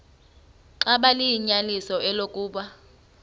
xaba liyinyaniso eloku